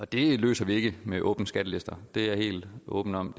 det løser vi ikke med åbne skattelister det er jeg helt åben om